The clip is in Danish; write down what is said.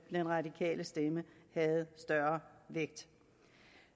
den radikale stemme havde større vægt